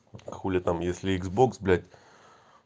хули там если икс бокс блять